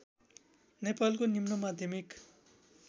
नेपालको निम्न माध्यमिक